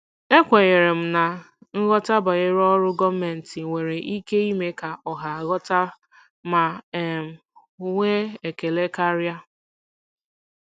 Ekwenyere m na nghọta banyere ọrụ gọọmentị nwere ike ime ka ọha ghọta ma um nwee ekele karịa.